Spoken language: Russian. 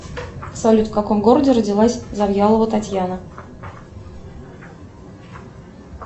салют в каком городе родилась завьялова татьяна